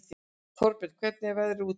Þórbjörn, hvernig er veðrið úti?